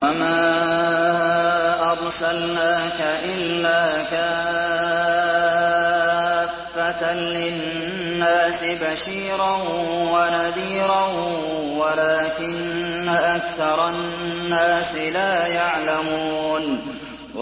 وَمَا أَرْسَلْنَاكَ إِلَّا كَافَّةً لِّلنَّاسِ بَشِيرًا وَنَذِيرًا وَلَٰكِنَّ أَكْثَرَ النَّاسِ لَا يَعْلَمُونَ